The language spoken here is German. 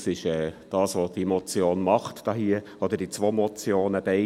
Das ist das, was diese zwei Motionen hier tun.